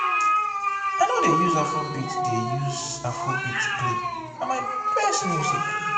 i no dey use afrobeat dey use afrobeat play na my best music.